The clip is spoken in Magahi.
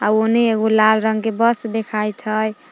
आओ ओने एगो लाल रंग के बस देखाइत हइ।